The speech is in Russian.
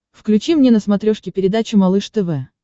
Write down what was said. включи мне на смотрешке передачу малыш тв